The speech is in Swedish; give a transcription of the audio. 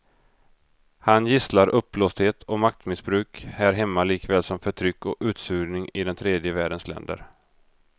Han gisslar uppblåsthet och maktmissbruk här hemma likaväl som förtryck och utsugning i den tredje världens länder.